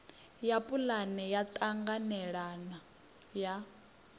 ya pulane ya ṱhanganelano ya